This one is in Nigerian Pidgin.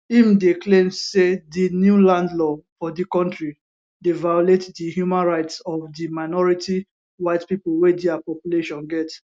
im dey claim say di new land law for di kontri dey violate di human rights of di minority white pipo wey dia population get